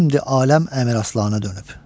şimdi aləm Əmir Aslana dönüb.